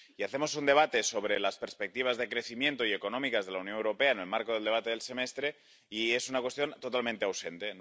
Hacemos un debate sobre las perspectivas de crecimiento y económicas de la Unión Europea en el marco del debate del Semestre Europeo y la cuestión está totalmente ausente.